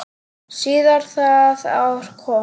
Síðar það ár kom